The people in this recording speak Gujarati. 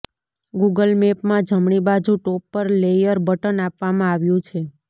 ગુગલ મેપમાં જમણી બાજુ ટોપ પર લેયર બટન આપવામાં આવ્યું છે